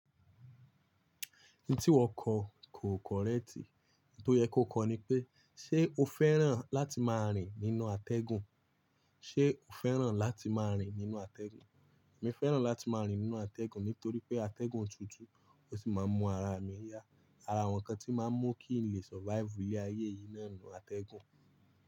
Ohun tí wọ́n kọ kò correct. Ohun tó yẹ kó kọ ni pé, ṣé o fẹ́ràn láti máa rìn nínú atẹ́gùn? Ṣé o fẹ́ràn láti máa rìn nínú atẹ́gùn? Èmi fẹ́ràn láti máa rìn nínú atẹ́gùn nítorí pé atẹ́gùn tútù ó sì máa mú ara mi yá. Ara àwọn nǹkan tí máa mú kí n lè survive ní ayé yìí náà nù atẹ́gùn.